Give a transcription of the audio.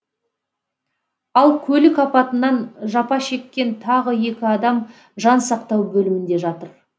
ал көлік апатынан жапа шеккен тағы екі адам жансақтау бөлімінде жатыр